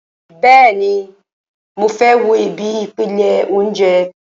Bẹ́ẹ̀ni, mo fẹ́ wo ibi ìpele óúnjẹ